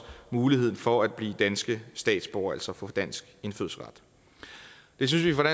muligheden for at blive danske statsborgere altså få dansk indfødsret det synes vi fra